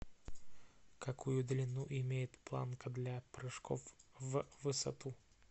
какую длину имеет планка для прыжков в высоту